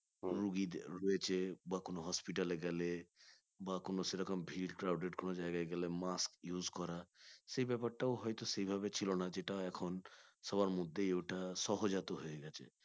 রোগীদের রয়েছে বা কোন hospital এ গেলে বা কোন সেরকম ভির crowded কোন জায়গায় গেলে mask use করা সেই ব্যাপারটাও হয়ত সেভাবে ছিল না যেটা এখন সবার মধ্যে ওটা সহজাত হয়ে গেছে।